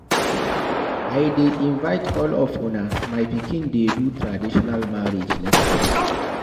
I dey invite all of una, my pikin dey do traditional marriage next month